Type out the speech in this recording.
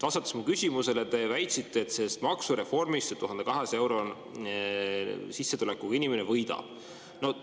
Vastates mu küsimusele, te väitsite, et sellest maksureformist 1200-eurose sissetulekuga inimene võidab.